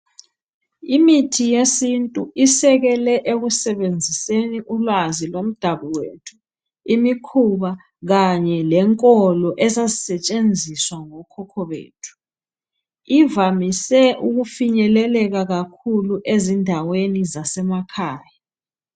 Imithi yesintu isekele ekusebenziseni ulwazi lomdabu wethu, imikhuba, kanye lenkolo ezazisetshenziswa ngo Khokho bethu, ivamise ukufinyeleka kakhulu ezindaweni zasemakhaya.